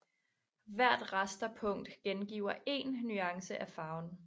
Hvert rasterpunkt gengiver én nuance af farven